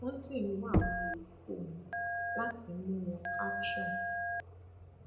wọn sì ń wá àwọn yòókù wọn láti mú wọn caption